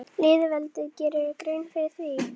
Lýðveldið, gerirðu þér grein fyrir því?